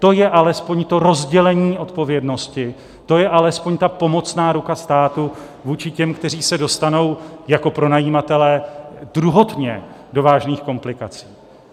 To je alespoň to rozdělení odpovědnosti, to je alespoň ta pomocná ruka státu vůči těm, kteří se dostanou jako pronajímatelé druhotně do vážných komplikací.